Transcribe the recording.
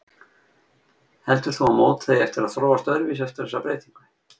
Heldur þú að mótið eigi eftir að þróast öðruvísi eftir þessa breytingu?